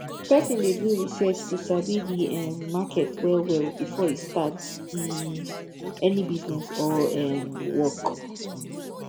persin de do research to sabi the um market well well before e start um any business or um work